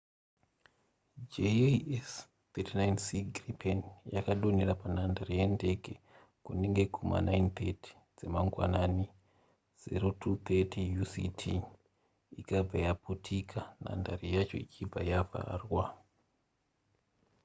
jas 39c gripen yakadonhera panhandare yendenge kunenge kuma9:30 dzemangwanani 0230 uct ikabva yaputika nhandare yacho ichibva yavharwa